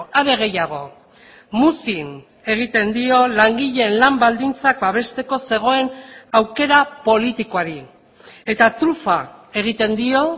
are gehiago muzin egiten dio langileen lan baldintzak babesteko zegoen aukera politikoari eta trufa egiten dio